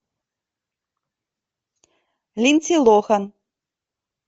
линдси лохан